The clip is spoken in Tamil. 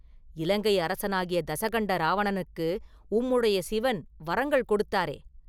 இலங்கை அரசனாகிய தசகண்ட ராவணனுக்கு உம்முடைய சிவன் வரங்கள் கொடுத்தாரே?